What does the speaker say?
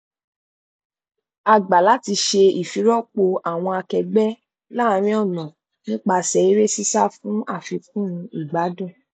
a gbà láti ṣe ìfirọpò àwọn akẹgbẹ láàrin ọnà nípasẹ eré sísá fún àfikún ìgbádùn